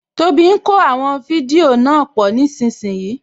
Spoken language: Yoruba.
Tóbi ń kó àwọn fídíò náà pọ̀ nísìínyi